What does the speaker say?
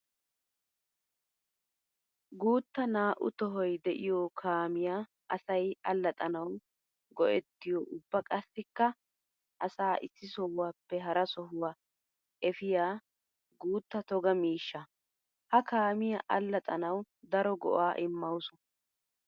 Guuta naa'u tohoy de'iyo kaamiya asay alaxxanawu go'ettiyo ubba qassikka asaa issi sohuwappe hara sohuwa efiya guuta toga miishsha. Ha kaamiya alaxxanawu daro go'a immawusu.